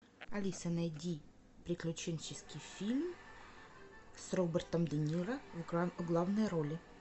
алиса найди приключенческий фильм с робертом де ниро в главной роли